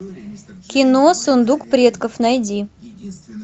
кино сундук предков найди